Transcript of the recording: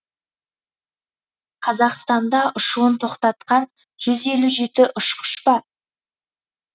қазақстанда ұшуын тоқтатқан жүз елу жеті ұшқыш бар